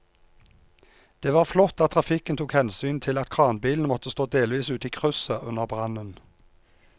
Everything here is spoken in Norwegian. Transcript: Det var flott at trafikken tok hensyn til at kranbilen måtte stå delvis ute i krysset under brannen.